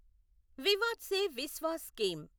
Vivad se Vishwas scheme